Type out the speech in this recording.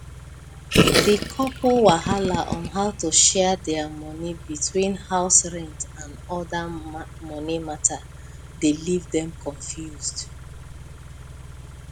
the couple wahala on how to share their money between house rent and other money matter dey leave dem confused